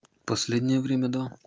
последнее время да